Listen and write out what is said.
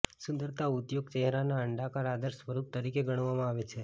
સુંદરતા ઉદ્યોગ ચહેરાના અંડાકાર આદર્શ સ્વરૂપ તરીકે ગણવામાં આવે છે